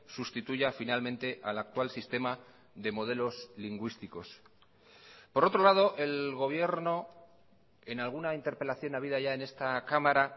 sustituya finalmente al actual sistema de modelos lingüísticos por otro lado el gobierno en alguna interpelación habida ya en esta cámara